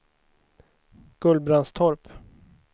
Gullbrandstorp